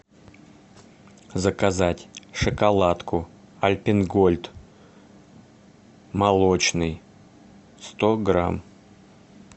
заказать шоколадку альпен гольд молочный сто грамм